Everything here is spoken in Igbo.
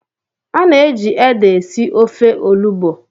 a na-eji ede esi ofe olugbo.